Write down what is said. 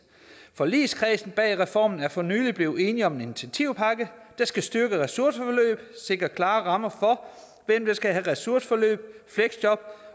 forligskredsen bag reformen er for nyligt blevet enige om en initiativpakke der skal styrke ressourceforløb sikre klarere rammer for hvem der skal have ressourceforløb fleksjob